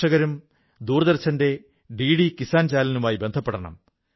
പ്രിയപ്പെട്ട ദേശവാസികളേ പഠിക്കലെന്നാൽ വളരൽ എന്നാണ് പറയപ്പെടുന്നത്